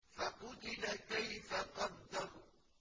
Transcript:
فَقُتِلَ كَيْفَ قَدَّرَ